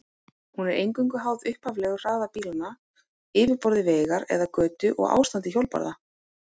Hún er eingöngu háð upphaflegum hraða bílanna, yfirborði vegar eða götu og ástandi hjólbarða.